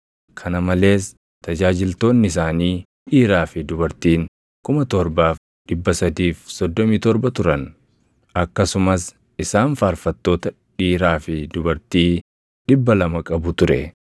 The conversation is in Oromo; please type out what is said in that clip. kana malees tajaajiltoonni isaanii dhiiraa fi dubartiin 7,337 turan; akkasumas isaan faarfattoota dhiiraa fi dubartii 200 qabu ture.